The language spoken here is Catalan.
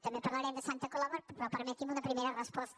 també parlarem de santa coloma però permeti’m una primera resposta